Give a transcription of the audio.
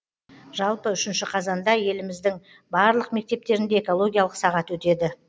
жалпы үшінші қазанда еліміздің барлық мектептерінде экологиялық сағат өтеді